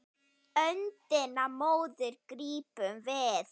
Öndina móðir grípum við.